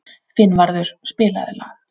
Finnvarður, spilaðu lag.